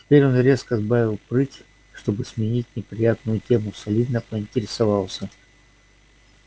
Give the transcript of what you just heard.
теперь он резко сбавил прыть и чтобы сменить неприятную тему солидно поинтересовался